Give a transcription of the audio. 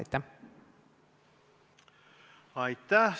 Aitäh!